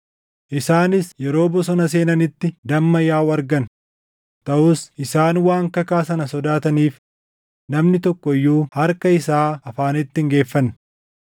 Isaanis yeroo bosona seenanitti damma yaaʼu argan; taʼus isaan waan kakaa sana sodaataniif namni tokko iyyuu harka isaa afaanitti hin geeffanne.